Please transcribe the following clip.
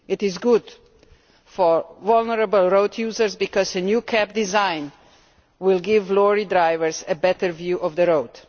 It is good for vulnerable road users because the new cab design will give lorry drivers a better view of the road.